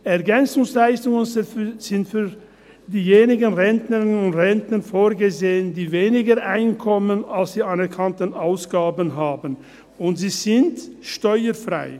EL sind für diejenigen Rentnerinnen und Rentner vorgesehen, die weniger Einkommen als die anerkannten Ausgaben haben, und sie sind steuerfrei.